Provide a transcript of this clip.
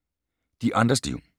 De andres liv